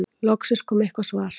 Loksins kom eitthvert svar.